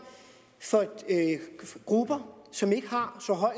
for grupper som ikke har